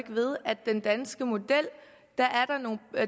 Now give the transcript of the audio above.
den danske model